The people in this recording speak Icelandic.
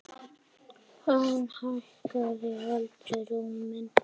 Hún hækkaði aldrei róminn.